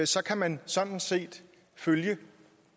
så kan man sådan set følge